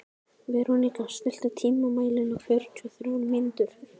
Veróníka, stilltu tímamælinn á fjörutíu og þrjár mínútur.